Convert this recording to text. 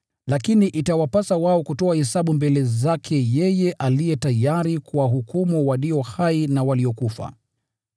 Lakini itawapasa wao kutoa hesabu mbele zake yeye aliye tayari kuwahukumu walio hai na waliokufa.